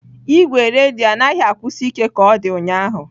Igwe redio anaghị akwụsi ike ka ọ dị ụnyahụ.